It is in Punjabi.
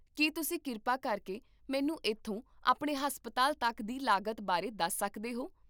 ਕੀ ਤੁਸੀਂ ਕਿਰਪਾ ਕਰਕੇ ਮੈਨੂੰ ਇੱਥੋਂ ਆਪਣੇ ਹਸਪਤਾਲ ਤੱਕ ਦੀ ਲਾਗਤ ਬਾਰੇ ਦੱਸ ਸਕਦੇ ਹੋ?